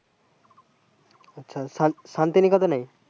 আচ্ছা সান শান্তিনিকেতন এ